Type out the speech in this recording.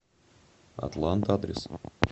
атлант адрес